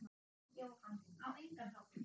Jóhann: Á engan hátt?